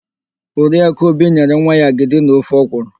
Oriakụ Obi nyere nwa ya agịdi na ofe ọkwụrụ.